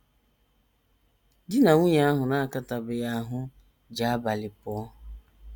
DI NA nwunye ahụ na - akatabeghị ahụ́ ji abalị pụọ.